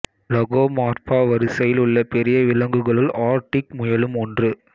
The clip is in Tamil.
லகோமார்பா வரிசையில் உள்ள பெரிய விலங்குகளுள் ஆர்க்டிக் முயலும் ஒன்று